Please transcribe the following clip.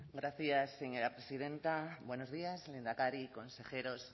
gracias señora presidenta buenos días lehendakari consejeros